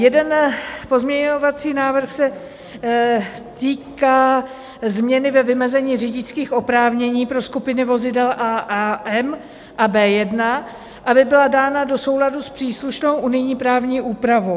Jeden pozměňovací návrh se týká změny ve vymezení řidičských oprávnění pro skupiny vozidel a AM a B1, aby byla dána do souladu s příslušnou unijní právní úpravou.